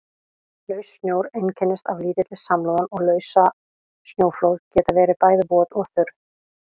Laus snjór einkennist af lítilli samloðun og lausasnjóflóð geta verið bæði vot og þurr.